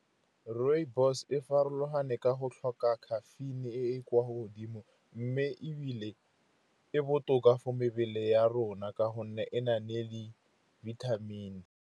Rooibos e farologane ka go tlhoka caffeine-e e e kwa godimo, mme ebile e botoka for mebele ya rona ka gonne e na le di-vitamin-e.